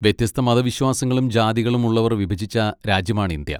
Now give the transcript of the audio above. വ്യത്യസ്ത മതവിശ്വാസങ്ങളും ജാതികളും ഉള്ളവർ വിഭജിച്ച രാജ്യമാണ് ഇന്ത്യ.